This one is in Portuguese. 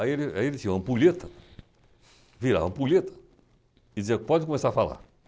Aí ele aí ele tinha uma ampulheta, virava a ampulheta, dizia pode começar a falar.